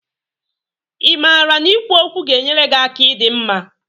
Ị maara na ikwu okwu ga-enyere gị aka ịdi mma?